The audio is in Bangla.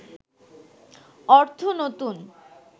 অর্থ নতুন